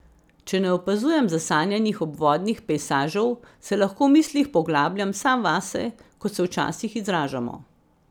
Če ne opazujem zasanjanih obvodnih pejsažev, se lahko v mislih poglabljam sam vase, kot se včasih izražamo.